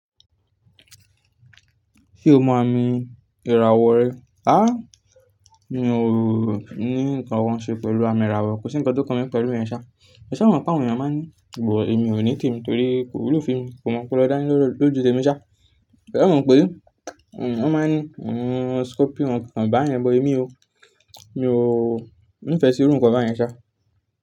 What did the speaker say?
Ṣé o mọ àmì ìràwọ̀ rẹ? Mi ò ní nǹkan wọ́n ṣe pẹ̀lú àmì ìràwọ̀, kò sí ǹkan tó kan mí pẹ̀lú ìyẹn ṣáa. Ṣé e mọ̀ pé àwọn èèyàn máa ń ní, but èmi ò ní tèmi torí ko wúlò fún emi kò mu ọpọlọ dani lójú tèmi ṣáa. E mọ̀ pé? Wọ́n máa ń ní, scorpion ọkàn bá yẹn but èmi o. Mi ò ní ìfẹ́ sí irú nǹkan báyẹn ṣá.